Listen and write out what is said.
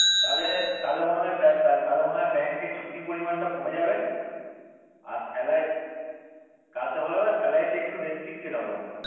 তালে তালে মনে হয় তালে মনে হয় bank এ ছুটির পরিমান টা কমে যাবে আর salary কাজটা ভালো হবে salary টা একটু recapacitate হবে মনে হয়